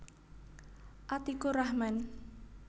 Atikurahman